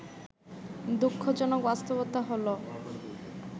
দুঃখজনক বাস্তবতা হলো